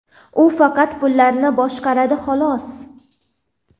u faqat pullarni boshqaradi, xolos.